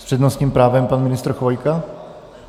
S přednostním právem pan ministr Chvojka?